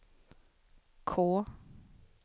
K